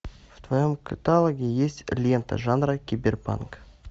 в твоем каталоге есть лента жанра киберпанк